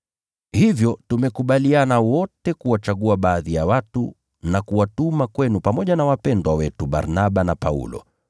Hivyo tumekubaliana wote kuwachagua baadhi ya watu na kuwatuma kwenu pamoja na wapendwa wetu Barnaba na Paulo,